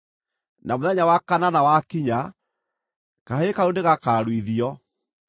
Na mũthenya wa kanana wakinya, kahĩĩ kau nĩgakaaruithio.